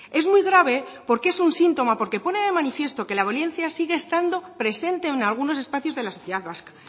es muy grave porque es un síntoma porque pone de manifiesto que la violencia sigue estando presente en algunos espacios de la sociedad vasca